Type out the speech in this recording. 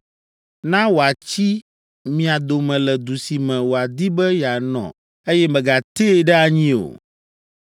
Na wòatsi mia dome le du si me wòadi be yeanɔ eye mègatee ɖe anyi o.